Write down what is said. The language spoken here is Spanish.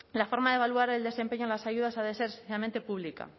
la forma de evaluar el desempeño de las ayudas ha de ser esencialmente pública